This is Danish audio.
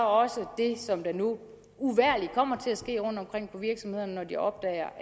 også det som der nu uvægerlig kommer til at ske rundtomkring på virksomhederne når de opdager